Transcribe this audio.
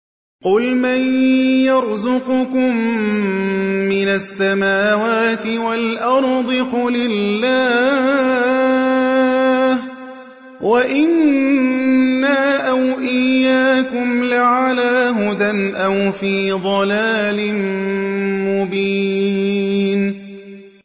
۞ قُلْ مَن يَرْزُقُكُم مِّنَ السَّمَاوَاتِ وَالْأَرْضِ ۖ قُلِ اللَّهُ ۖ وَإِنَّا أَوْ إِيَّاكُمْ لَعَلَىٰ هُدًى أَوْ فِي ضَلَالٍ مُّبِينٍ